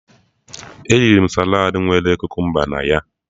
Eriri m saladị nwere kukumba na ya